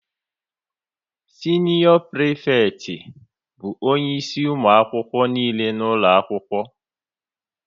Sinior prifekti bụ onye isi ụmụ akwụkwọ nile nọ n'ụlọ akwụkwọ